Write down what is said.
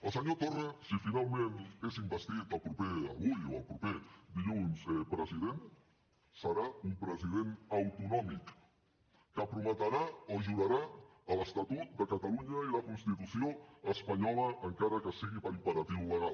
el senyor torra si finalment és investit avui o el proper dilluns president serà un president autonòmic que prometrà o jurarà l’estatut de catalunya i la constitució espanyola encara que sigui per imperatiu legal